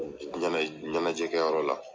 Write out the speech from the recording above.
ɲɛna ɲɛnajɛ kɛ yɔrɔ la,